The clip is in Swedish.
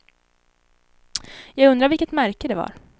Jag undrar vilket märke det var.